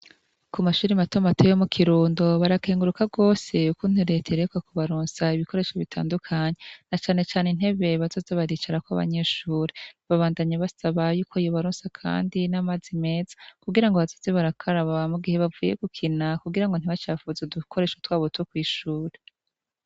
Ku mashuri matoma ateyo mu kirundo barakenguruka rwose yukunturete rekwa ku baronsah ibikoresho bitandukanyi na canecane intebe bazozi baricara ko abanyeshuri babandanye basa ba yuko yibaronsa, kandi n'amaze meza kugira ngo abazozi barakarabaa mu gihe bavye gukina kugira ngo ntibacafuze dukoresha twa buto kw'ishuri.